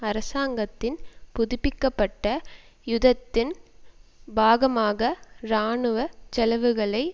அரசாங்கத்தின் புதுப்பிக்க பட்ட யுதத்தின் பாகமாக இராணுவ செலவுகளை